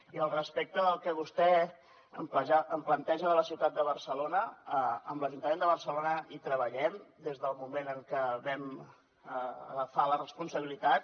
i al respecte del que vostè em planteja de la ciutat de barcelona amb l’ajuntament de barcelona hi treballem des del moment en què vam agafar la responsabilitat